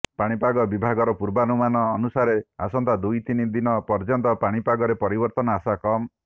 ପାଣିପାଗ ବିଭାଗର ପୂର୍ବାନୁମାନ ଅନୁସାରେ ଆସନ୍ତା ଦୁଇ ତିନି ଦିନ ପର୍ଯ୍ୟନ୍ତ ପାଣିପାଗରେ ପରିବର୍ତ୍ତନ ଆଶା କମ୍